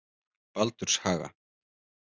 Baldurshaga